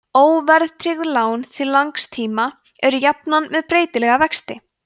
óverðtryggð lán til langs tíma eru jafnan með breytilega vexti